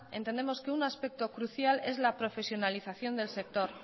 entendemos que un aspecto crucial es la profesionalización del sector